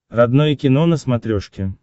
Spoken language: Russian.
родное кино на смотрешке